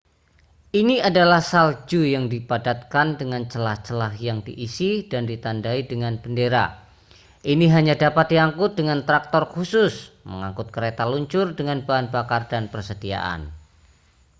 ini adalah salju yang dipadatkan dengan celah-celah yang diisi dan ditandai dengan bendera ini hanya dapat diangkut dengan traktor khusus mengangkut kereta luncur dengan bahan bakar dan persediaan